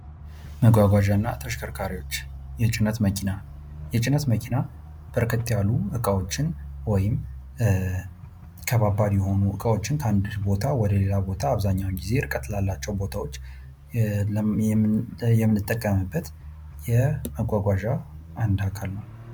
መጓጓዣና ተሽከርካሪዎች የጭነት መኪና፦ የጭነት መኪና በርከት ያሉ ዕቃዎችን ወይም ከባድ የሆኑ እቃዎችን ከአንድ ቦታ ወደሌላ ቦታ አብዛኛውን ጊዜ ርቀት ላላቸው ቦታዎች የምንጠቀምበት የመጓጓዣ አንዱ አካል ነው።